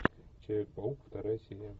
человек паук вторая серия